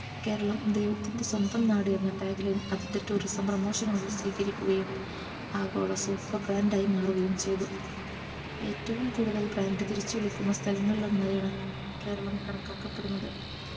കേരളം ദൈവത്തിൻറെ സ്വന്തം നാട് എന്ന Tag line അതിൻറെ Tourismpromotion നുകൾക്ക് സ്വീകരിക്കുകയും ആഗോള super brand ആയി മാറുകയും ചെയ്തു ഏറ്റവും കൂടുതൽ brand തിരിച്ചു വിളിക്കുന്ന സ്ഥലങ്ങൾ ഒന്നായാണ് കേരളം കണക്കാക്കപ്പെടുന്നത്